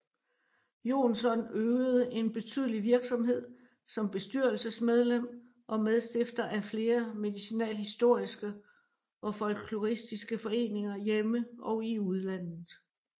Jonsson øvede en betydelig virksomhed som bestyrelsesmedlem og medstifter af flere medicinalhistoriske og folkloristiske foreninger hjemme og i udlandet